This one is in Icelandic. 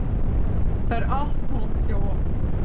Það er allt tómt hjá okkur